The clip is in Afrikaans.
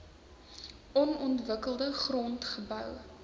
onontwikkelde grond gebou